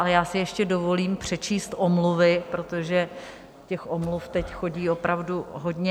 Ale já si ještě dovolím přečíst omluvy, protože těch omluv teď chodí opravdu hodně.